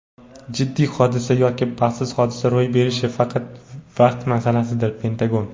jiddiy hodisa yoki baxtsiz hodisa ro‘y berishi faqat vaqt masalasidir – Pentagon.